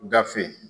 Gafe